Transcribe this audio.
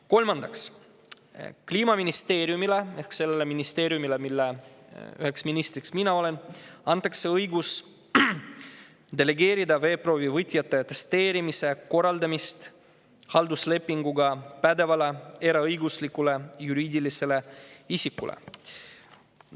Kolmandaks, Kliimaministeeriumile – ehk sellele ministeeriumile, mille üks minister olen mina – antakse õigus delegeerida veeproovi võtjate atesteerimise korraldamist halduslepinguga pädevale eraõiguslikule juriidilisele isikule.